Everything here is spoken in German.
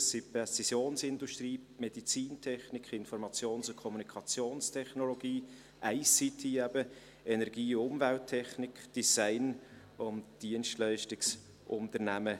Das sind die Präzisionsindustrie, die Medizintechnik, die Informations- und Kommunikationstechnologie, ICT, Energie-/Umwelttechnik, Design und Dienstleistungsunternehmen.